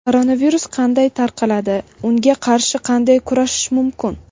Koronavirus qanday tarqaladi - unga qarshi qanday kurashish mumkin?.